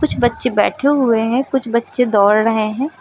कुछ बच्चे बैठे हुए हैं कुछ बच्चे दौड़ रहे हैं।